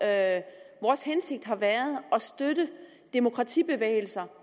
at støtte demokratibevægelser